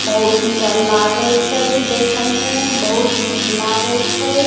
बहुत सुन्दर लागे छै देखे में बहुत निक लागे छै।